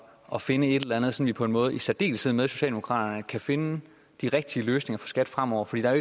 at finde et eller andet så vi på en måde i særdeleshed med socialdemokraterne kan finde de rigtige løsninger for skat fremover for der er